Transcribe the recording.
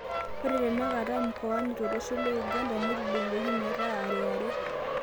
Ore tenakata mkoani tolosho le Uganda netudung'oki meeta are are